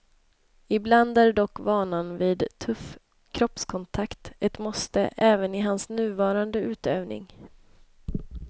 Ibland är dock vanan vid tuff kroppskontakt ett måste även i hans nuvarande utövning.